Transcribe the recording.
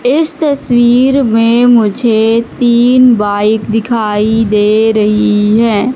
इस तस्वीर में मुझे तीन बाइक दिखाई दे रही है।